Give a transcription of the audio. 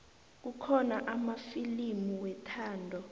kukhona amafilimu wethando